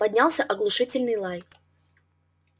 поднялся оглушительный лай